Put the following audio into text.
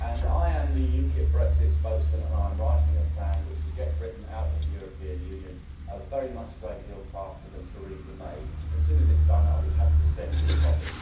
I am the UKIP Brexit spokesman, and I'm writing a plan which would get Britain out of the European Union a very much a great deal faster than Theresa May's, and soon as it's done I'll be happy to send you a copy.